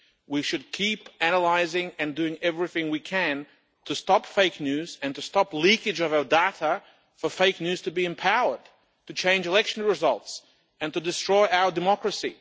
We should keep analysing and doing everything we can to stop fake news and to stop leakage of our data for fake news to be empowered to change election results and to destroy our democracy.